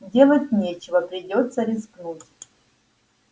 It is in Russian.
делать нечего придётся рискнуть